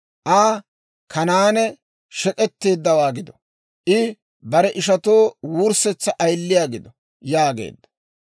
Aa, «Kanaane shek'etteeddawaa gido! I bare ishatoo wurssetsa ayiliyaa gido» yaageedda.